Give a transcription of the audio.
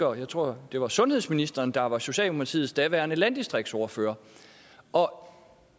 og jeg tror det var sundhedsministeren der var socialdemokratiets daværende landdistriktsordfører og